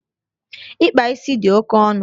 Ịkpa ísì di oke ọnụ